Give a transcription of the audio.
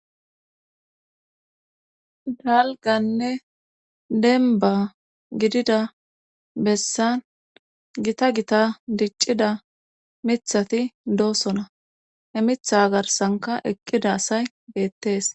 dalganne denba gidida bessan gita gita diccida mithati doosona he mitha garsanka eqqida asay geettes